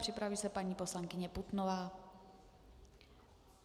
Připraví se paní poslankyně Putnová.